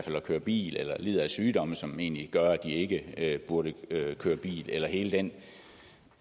køre bil eller som lider af sygdomme som egentlig gør at de ikke burde køre bil eller hele den